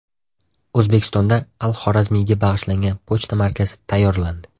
O‘zbekistonda Al-Xorazmiyga bag‘ishlangan pochta markasi tayyorlandi.